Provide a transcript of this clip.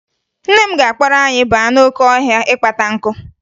Nne m ga-akpọrọ anyị baa n'oke ọhịa ịkpata nkụ